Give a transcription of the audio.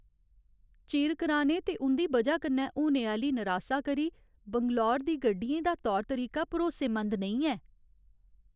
चिर कराने ते उं'दी बजाह् कन्नै होने आह्‌ली नरासा करी बंगलूरू दी गड्डियें दा तौर तरीका भरोसेमंद नेईं ऐ।